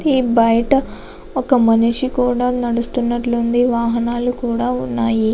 బయట ఒక మనిషి కూడా నడుస్తునట్టు ఉంది. వాహనాలు కూడా ఉన్నాయి.